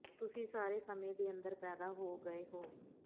ਤੁਸੀਂ ਸਾਰੇ ਸਮੇਂ ਦੇ ਅੰਦਰ ਪੈਦਾ ਹੋ ਗਏ ਹੋ